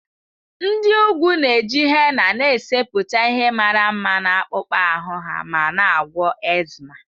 Nd ị ugwu na-eji henna na-esepụta ihe mara mma na akpụkpọ ahụ ha ma na-agwọ eczema.